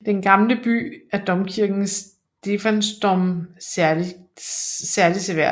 I denne gamle by er domkirken Stephansdom særligt seværdig